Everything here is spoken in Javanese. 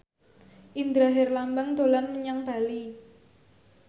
Indra Herlambang dolan menyang Bali